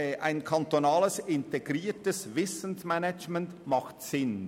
Ein kantonales integriertes Wissensmanagement macht Sinn.